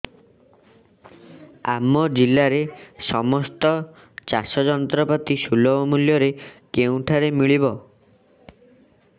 ଆମ ଜିଲ୍ଲାରେ ସମସ୍ତ ଚାଷ ଯନ୍ତ୍ରପାତି ସୁଲଭ ମୁଲ୍ଯରେ କେଉଁଠାରୁ ମିଳିବ